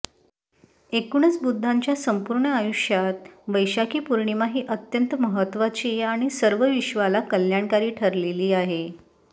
एकूणच बुद्धाच्या संपूर्ण आयुष्यात वैशाखी पौर्णिमा ही अत्यंत महत्त्वाची आणि सर्व विश्वाला कल्याणकारी ठरलेली आहे